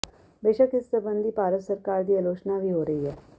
ਬੇਸ਼ਕ ਇਸ ਸਬੰਧੀ ਭਾਰਤ ਸਰਕਾਰ ਦੀ ਆਲੋਚਨਾ ਵੀ ਹੋ ਰਹੀ ਹੈ